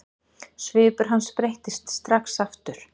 Svipur hans breyttist strax aftur.